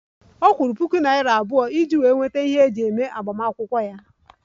Ọ kwụrụ puku naira iri abụọ iji nweta ihe eji eme agbamakwụkwọ ya